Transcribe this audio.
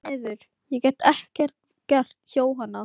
Því miður, ég get ekkert gert, Jóhanna.